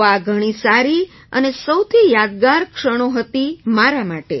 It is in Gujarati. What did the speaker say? તો આ ઘણી સારી અને સૌથી યાદગાર ક્ષણો હતી મારા માટે